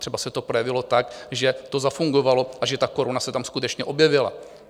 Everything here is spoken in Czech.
Třeba se to projevilo tak, že to zafungovalo a že ta koruna se tam skutečně objevila.